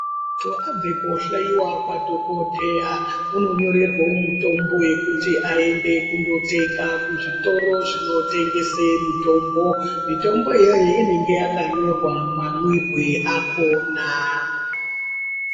Munthu abva koohloiwa kwadhokodheya, unonyorerwawo mitombo yekuti aende kundotenga, kuzvitoro zvinotengesa mitombo. Mitombo iyoyo inenge yakanyorwa mamwirwe akhona.